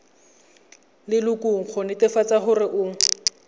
lelokong go netefatsa gore o